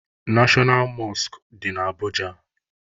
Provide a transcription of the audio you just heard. Neshọnal Mọskụ dị na Abụja